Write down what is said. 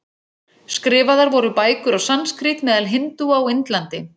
Skrifaðar voru bækur á sanskrít meðal hindúa á Indlandi.